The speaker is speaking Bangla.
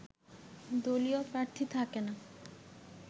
দলীয় প্রার্থী থাকে না